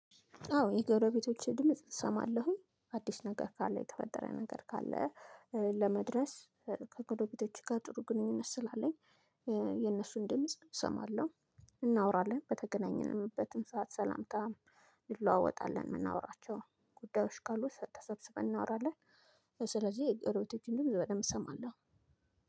አዎ የጎረቤቶቼ ድምጽ እሰማለሁኝ አዲስ ነገር ካለ የተፈጠረ ነገር ካለ። ለመድረስ ከጎረቤቶች ጋር ጥሩ ግንኙነት ስላለኝ። የነሱን ድምጽ እሰማለሁ። እናወራለን በተገናኘንበትም ሰዓት ሰላምታ ልለዋወጣለን የምናወራቸው ጉዳዮች ካሉ ተሰብስበን እናወራለን። ስለዚህ የጎረቤቶችን ድምጽ በደንብ እሰማለሁ።